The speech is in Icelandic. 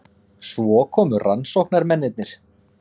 Svo komu rannsóknarmennirnir.